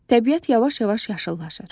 Təbiət yavaş-yavaş yaşıllaşır.